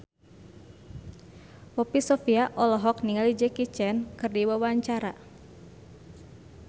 Poppy Sovia olohok ningali Jackie Chan keur diwawancara